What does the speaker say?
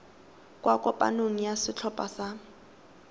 kwa kopanong ya setlhopha sa